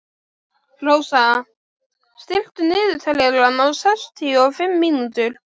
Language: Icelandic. Rósar, stilltu niðurteljara á sextíu og fimm mínútur.